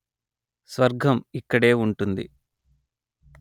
స్వర్గం ఇక్కడే వుంటుంది